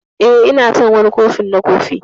Eh, Ina son wani kofin na kofi.